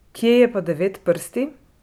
Kje je pa Devetprsti?